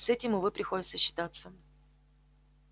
с этим увы приходится считаться